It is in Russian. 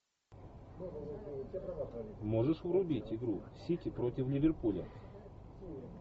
можешь врубить игру сити против ливерпуля